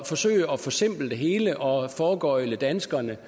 forsøger at forsimple det hele og foregøgle danskerne